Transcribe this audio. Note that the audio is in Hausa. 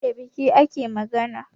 Da baki ake magana